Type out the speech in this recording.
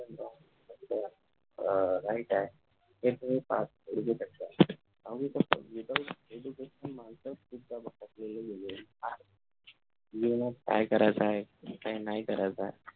माहित आहे जीवनात काय करायच आहे काय नाही करायचं आहे.